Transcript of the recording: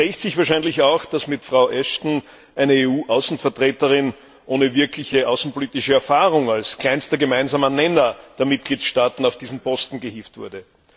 Und es rächt sich wahrscheinlich auch, dass mit Frau Ashton eine EU Außenvertreterin ohne wirkliche außenpolitische Erfahrung als kleinster gemeinsamer Nenner der Mitgliedstaaten auf diesen Posten gehievt wurde.